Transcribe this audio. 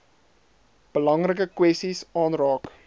belangrike kwessies aanraak